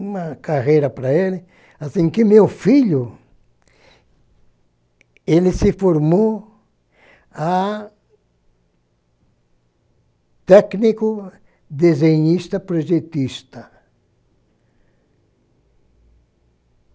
uma carreira para ele, assim que meu filho ele se formou a técnico, desenhista, projetista.